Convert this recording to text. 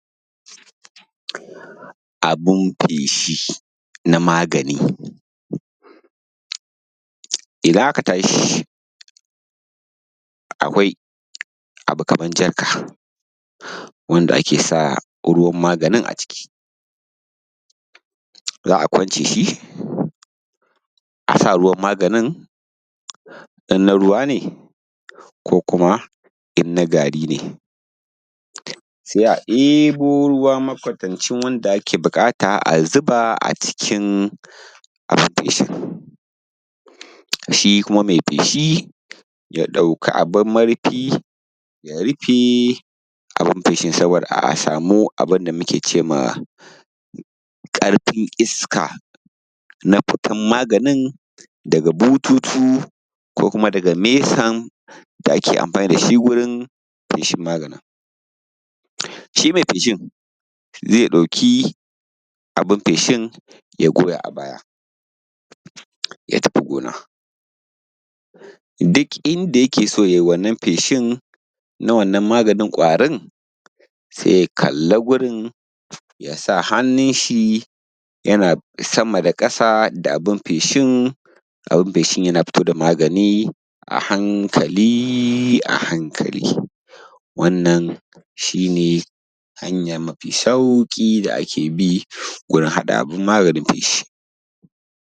abun feshi na magani idan aka tashi akwai abu kaman jarka wanda ake saka ruwan maganin a ciki za a kwance shi a sa ruwan maganin in na ruwa ne ko kuma in na gari ne sai a ɗebo ruwa makwatancin wanda ake buƙata a zuba a cikin abun feshin, shi kuma mai feshin ya ɗauki abun murfi ya rufe saboda kada a samu abunda mu ke cewa ƙarfin iska na fitar maganin daga bututu ko kuma daga mesar da ake amfani da shi wajen feshin maganin shi mai feshin maganin zai ɗauki abun feshin ya goya a baya ya tafi gona duk inda yake so yayi wannan feshin na wannan maganin kwarin sai ya kalla gurin ya sa hannun shi yana sama da ƙasa da abun feshin yana fito da magani a hankali a hankali wannan shi ne hanya mafi sauƙi da ake bi wajen haɗa abun maganin feshi